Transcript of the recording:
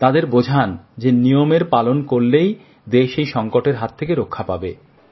তাঁদের বোঝান যে নিয়ম পালন করলেই দেশ এই সংকটের হাত থেকে রক্ষা পাবে